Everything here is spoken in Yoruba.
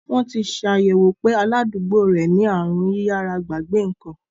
Wọ́n ti ṣàyẹ̀wò pé aládùúgbò rẹ̀ ní aàrùn yíyára-gbàgbé ǹkan.